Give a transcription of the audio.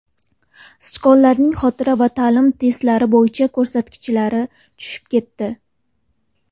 Sichqonlarning xotira va ta’lim testlari bo‘yicha ko‘rsatkichlari tushib ketdi.